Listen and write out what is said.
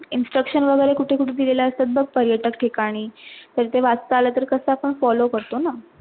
Instructions वगैरे कुठे - कुठे दिलेल्या असतात बगपरिसरठिकाणी तर ते वाचता आल तर कस आपण follow करतो ना